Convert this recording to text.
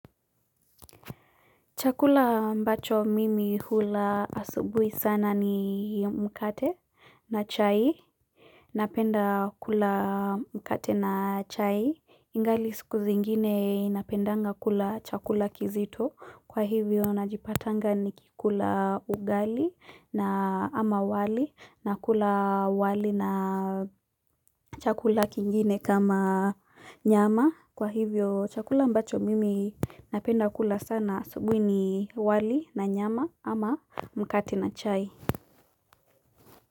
Chakula ambacho mimi hula asubui sana ni mkate na chai. Napenda kula mkate na chai. Ingali siku zingine napendanga kula chakula kizito. Kwa hivyo najipatanga nikikula ugali na ama wali na kula wali na chakula kingine kama nyama. Kwa hivyo chakula ambacho mimi napenda kula sana asubui ni wali na nyama ama mkate na chai.